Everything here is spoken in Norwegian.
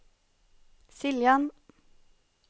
Siljan